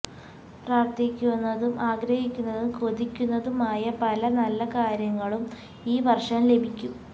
പ്രാർത്ഥിക്കുന്നതും ആഗ്രഹിക്കുന്നതും കൊതിക്കുന്നതുമായ പല നല്ല കാര്യങ്ങളും ഈ വർഷം ലഭിക്കും